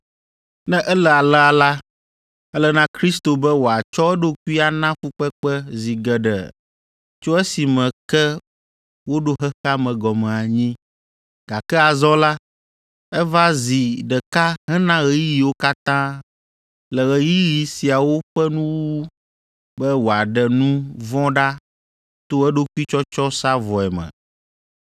Ne ele alea la, ele na Kristo be wòatsɔ eɖokui ana fukpekpe zi geɖe tso esime ke woɖo xexea me gɔme anyi, gake azɔ la, eva zi ɖeka hena ɣeyiɣiwo katã le ɣeyiɣi siawo ƒe nuwuwu be wòaɖe nu vɔ̃ ɖa to eɖokui tsɔtsɔ sa vɔe me.